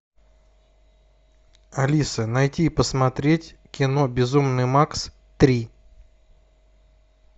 алиса найти и посмотреть кино безумный макс три